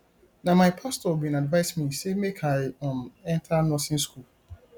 na my pastor bin advice me sey make i um enta nursing skool